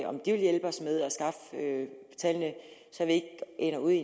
om de vil hjælpe os med at skaffe tallene så vi ikke ender i